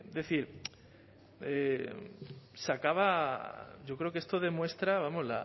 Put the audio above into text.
decir se acaba yo creo que esto demuestra vamos